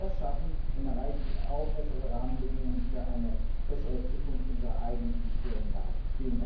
Wenn wir das schaffen, dann erreichen wir auch bessere Rahmenbedingungen für eine bessere Zukunft unserer eigenen industriellen Basis!